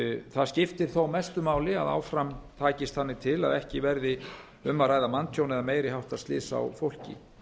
það skiptir þó mestu máli að áfram takist þannig til að ekki verið um að ræða manntjón eða meiri háttar slys á fólki